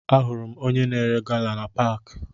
Ahụrụ m onye na-ere gala na paakị